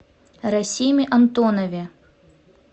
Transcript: расиме антонове